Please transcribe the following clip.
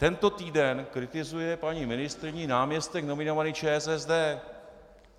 Tento týden kritizuje paní ministryni náměstek nominovaný ČSSD.